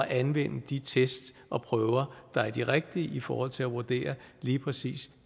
anvende de test og prøver der er de rigtige i forhold til at vurdere lige præcis